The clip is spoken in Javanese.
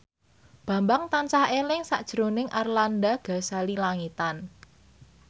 Bambang tansah eling sakjroning Arlanda Ghazali Langitan